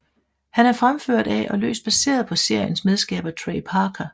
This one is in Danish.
Han er fremført af og løst baseret på seriens medskaber Trey Parker